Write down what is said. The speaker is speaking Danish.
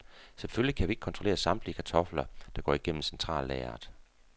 Selvfølgelig kan vi ikke kontrollere samtlige kartofler, der går igennem centrallageret.